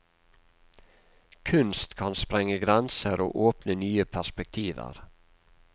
Kunst kan sprenge grenser og åpne nye perspektiver.